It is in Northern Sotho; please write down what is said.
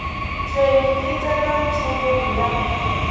tšhwene e tsena tšhemong ya